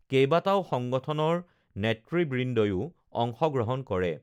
কেইবাটাও সংগঠনৰ নেতৃবৃন্দইও অংশগ্ৰহণ কৰে